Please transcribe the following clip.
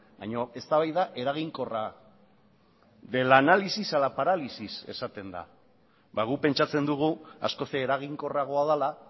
baino eztabaida eraginkorra del análisis a la parálisis esaten da ba guk pentsatzen dugu askoz eraginkorragoa dela